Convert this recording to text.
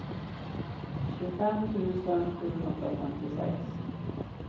tjugofem tusen sjuhundrafemtiosex